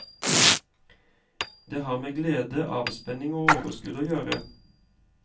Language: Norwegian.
Det har med glede, avspenning og overskudd å gjøre.